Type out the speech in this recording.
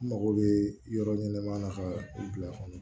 N mago bɛ yɔrɔ ɲɛnama na ka u bila kɔnɔ